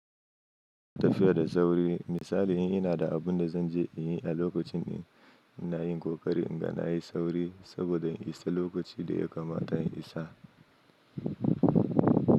Tafiya da sauri. Misali, ina da abun da zan je in yi a lokacin ina yin ƙoƙari in ga na yi sauri saboda isa lokaci da ya kamata in isa.